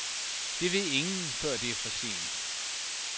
Det ved ingen, før det er for sent.